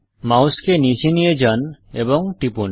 মাউসকে নীচে নিয়ে যান এবং টিপুন